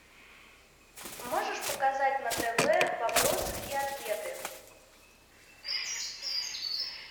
можешь показать на тв вопросы и ответы